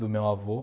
Do meu avô.